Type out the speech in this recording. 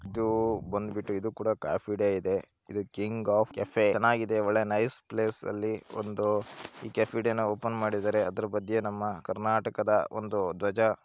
ಇಲ್ಲಿ ನಾವು ಏನು ನೋಡ್ತಾ ಇದ್ದೀರಿ ಅಂದ್ರೆ ಇಲ್ಲಿ ಹುಡುಗ ನೀರು ಕಡೆ ಎಲ್ಲಾ ಬ್ರಿಡ್ಜ್ ಮೇಲೆ ನಿಂತುಕೊಂಡು ಅಲ್ಲಿ ಫೋಟೋಸ್ ಹೇಳ್ತೀರೋದು ಅಂತ ನೋಡಬಹುದು